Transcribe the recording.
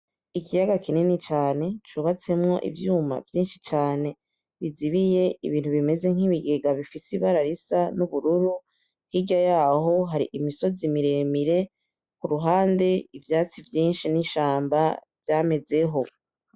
Ikiyaga kinini cane cubatsemwo ivyuma vyinshi cane bizibiye ibintu bimeze nk’ibigega bifise ibara risa nk’ubururu. Hirya yacyo hari imisozi miremire, ku ruhande ivyatsi vyinshi n’ishamba vyamezeho.